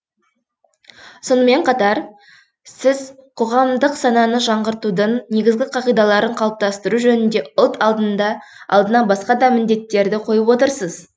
сонымен қатар сіз қоғамдық сананы жаңғыртудың негізгі қағидаларын қалыптастыру жөнінде ұлт алдына басқа да міндеттерді қойып отырсыз